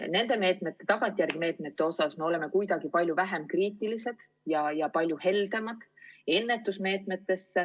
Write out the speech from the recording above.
Nende tagantjärele rakendatavate meetmete puhul me oleme kuidagi palju vähem kriitilised ja palju heldemad.